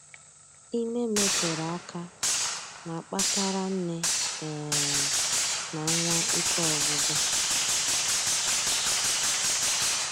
Ime metere aka na-akpatara nne um na nwa ike ọgwụgwụ